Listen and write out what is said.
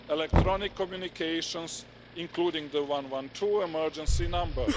electronic communications, including the 112 emergency number